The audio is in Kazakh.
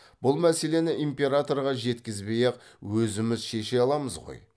бұл мәселені императорға жеткізбей ақ өзіміз шеше аламыз ғой